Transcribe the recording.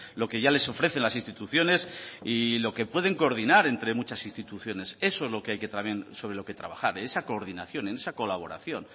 lo que ya les ofrecen las instituciones y lo que pueden coordinar entre muchas instituciones eso es lo que hay que también sobre lo que trabajar en esa coordinación en esa colaboración